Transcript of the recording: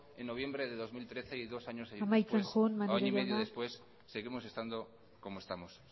en noviembre de dos mil trece y dos años después o año y media después seguimos estando como estamos